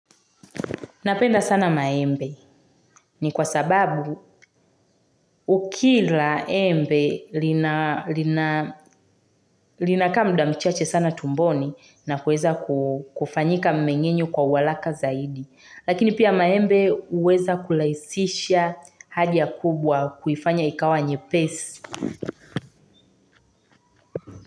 Napenda sana maembe ni kwa sababu ukila embe linakaa mda mchache sana tumboni na kuweza kufanyika mmengenyo kwa wa haraka zaidi. Lakini pia maembe huweza kuraisisha haja kubwa kuifanya ikawa nye pesi.